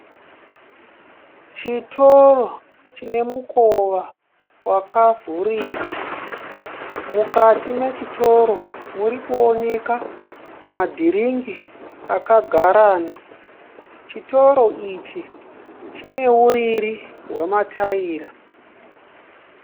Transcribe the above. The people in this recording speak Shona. Chitoro chine mukova wakavhurika. Mukati mechitoro murikuoneka ma dhiriki akagarana. Chitoro ichi chine uriri hwemataira.